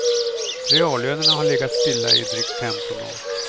Reallönerna har legat stilla i drygt femton år.